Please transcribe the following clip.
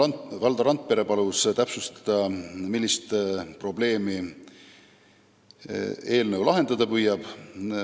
Valdo Randpere palus täpsustada, millist probleemi eelnõu lahendada püüab.